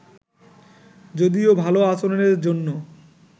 যদিও ভালো আচরণের জন্য